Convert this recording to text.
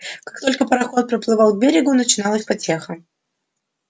как только пароход приплывал к берегу начиналась потеха